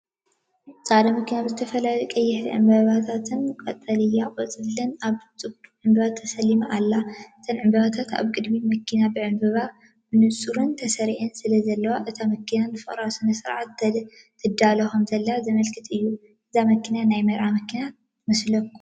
ጻዕዳ መኪና ብዝተፈላለዩ ቀያሕቲ ዕምባባታትን ቀጠልያ ቆጽልን ኣብ ጽቡቕ ዕንበባ ተሰሊማ ኣላ። እተን ዕምባባታት ኣብ ቅድሚት መኪና ብዕንበባ ብንጹር ተሰሪዐን ስለዘለዋ፡ እታ መኪና ንፍቕራዊ ስነ-ስርዓት ትዳሎ ከምዘላ ዘመልክት እዩ። እዛ መኪና ናይ መርዓ መኪና ትመስለኩም?